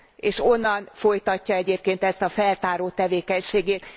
És onnan folytatja egyébként ezt a feltáró tevékenységét.